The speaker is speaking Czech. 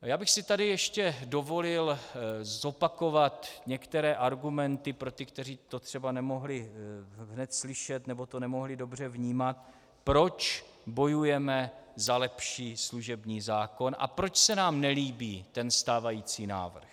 Já bych si tady ještě dovolil zopakovat některé argumenty pro ty, kteří to třeba nemohli hned slyšet, nebo to nemohli dobře vnímat, proč bojujeme za lepší služební zákon a proč se nám nelíbí ten stávající návrh.